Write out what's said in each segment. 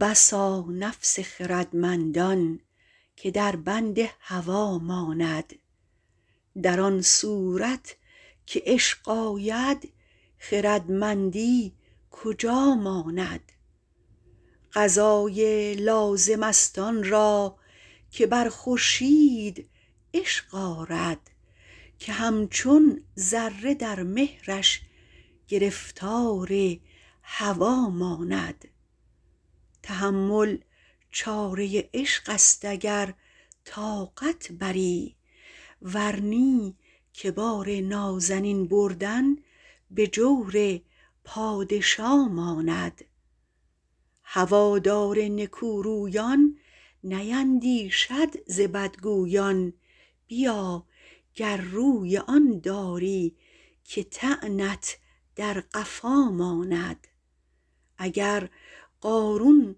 بسا نفس خردمندان که در بند هوا ماند در آن صورت که عشق آید خردمندی کجا ماند قضای لازمست آن را که بر خورشید عشق آرد که همچون ذره در مهرش گرفتار هوا ماند تحمل چاره عشقست اگر طاقت بری ور نی که بار نازنین بردن به جور پادشا ماند هوادار نکورویان نیندیشد ز بدگویان بیا گر روی آن داری که طعنت در قفا ماند اگر قارون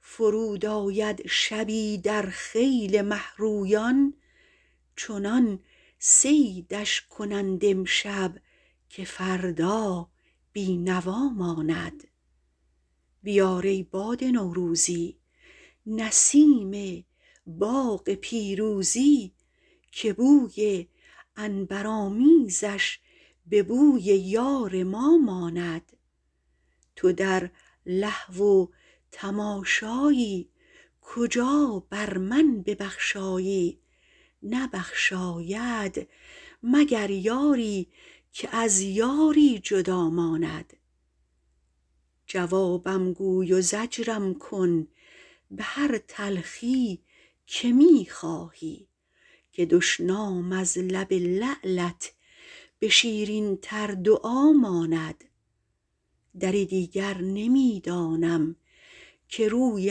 فرود آید شبی در خیل مهرویان چنان صیدش کنند امشب که فردا بینوا ماند بیار ای باد نوروزی نسیم باغ پیروزی که بوی عنبرآمیزش به بوی یار ما ماند تو در لهو و تماشایی کجا بر من ببخشایی نبخشاید مگر یاری که از یاری جدا ماند جوابم گوی و زجرم کن به هر تلخی که می خواهی که دشنام از لب لعلت به شیرین تر دعا ماند دری دیگر نمی دانم که روی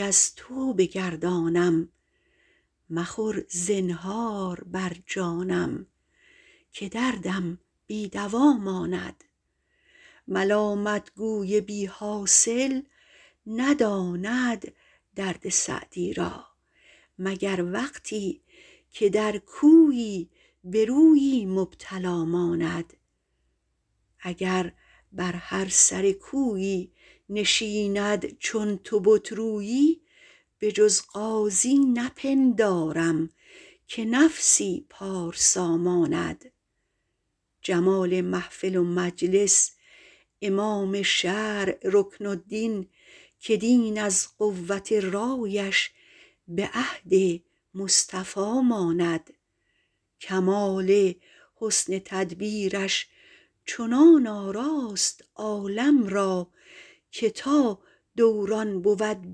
از تو بگردانم مخور زنهار بر جانم که دردم بی دوا ماند ملامتگوی بیحاصل نداند درد سعدی را مگر وقتی که در کویی به رویی مبتلا ماند اگر بر هر سر کویی نشیند چون تو بت رویی بجز قاضی نپندارم که نفسی پارسا ماند جمال محفل و مجلس امام شرع رکن الدین که دین از قوت رایش به عهد مصطفی ماند کمال حسن تدبیرش چنان آراست عالم را که تا دوران بود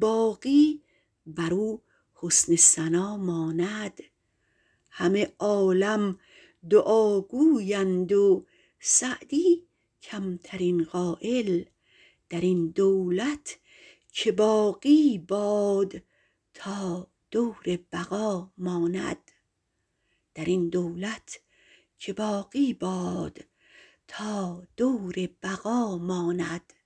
باقی برو حسن ثنا ماند همه عالم دعا گویند و سعدی کمترین قایل درین دولت که باقی باد تا دور بقا ماند